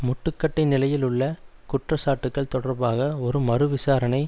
முட்டுக்கட்டை நிலையில் உள்ள குற்ற சாட்டுக்கள் தொடர்பாக ஒரு மறு விசாரணை